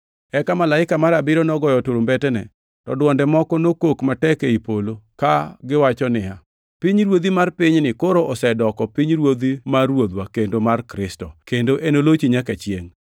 Eka malaika mar abiriyo nogoyo turumbetene, to dwonde moko nokok matek ei polo, kagiwacho niya, “Pinyruodhi mar pinyni koro osedoko pinyruodhi mar Ruodhwa kendo mar Kristo, kendo enolochi nyaka chiengʼ.”